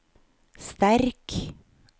sterk